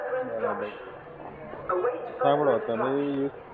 બરાબર સાંભળો તમે એ